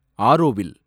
Auroville